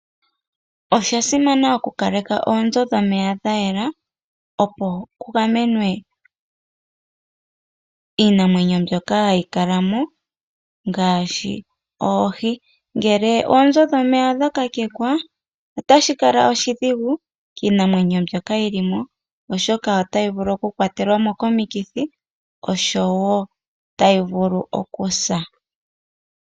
Osha simana oku kaleka oonzo dhomeya dha yela, opo kugamenwe iinamwenyo mbyoka hayi kalamo ngashi oohi, ngele oonzo dhomeya odha kakekwa, otashi kala oshidhigu kiinamwenyo mbyoka yili mo, oshoka otayi kwatelwamo komikithi osho wo okusa.